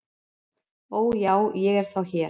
"""Ó, já, ég er þá hér"""